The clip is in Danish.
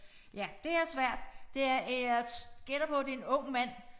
Ja det er svært det er øh jeg gætter på det en ung mand